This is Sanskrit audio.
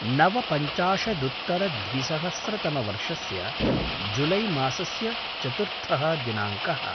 नवपञ्चाशदुत्तरद्विसहस्रतमवर्षस्य जुलै मासस्य चतुर्थः दिनाङ्कः